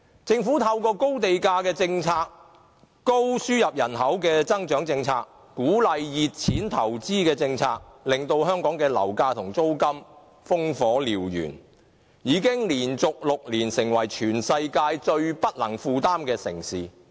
政府透過高地價政策、高度輸入人口的政策，以及鼓勵"熱錢"投資的政策，令香港樓價和租金飆升，已連續6年成為全球最不能負擔的城市。